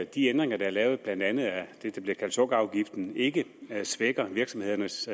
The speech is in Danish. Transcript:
de ændringer der er lavet blandt andet af det der bliver kaldt sukkerafgiften ikke svækker virksomhedernes